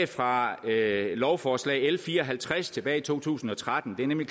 fra lovforslag l fire og halvtreds tilbage i to tusind og tretten det er nemlig